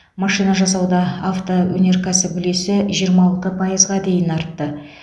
машина жасауда автоөнеркәсіп үлесі жиырма алты пайызға дейін артты